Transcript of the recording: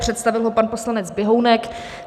Představil ho pan poslanec Běhounek.